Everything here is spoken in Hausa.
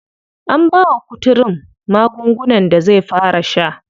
An bawa kuturun magungunan da zai fara sha.